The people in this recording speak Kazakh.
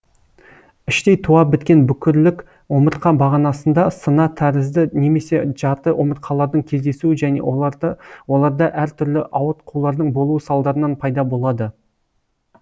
іштей туа біткен бүкірлік омыртқа бағанасында сына тәрізді немесе жарты омыртқалардың кездесуі және оларда әр түрлі ауытқулардың болуы салдарынан пайда болады